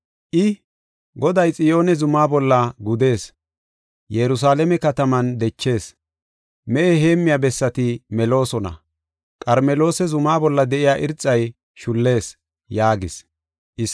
I, “Goday Xiyoone zuma bolla gudees; Yerusalaame kataman dechees. Mehe heemmiya bessati meloosona; Qarmeloosa zuma bolla de7iya irxay shullees” yaagis.